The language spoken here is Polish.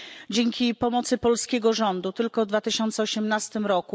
Dzięki pomocy polskiego rządu tylko w 2018 r.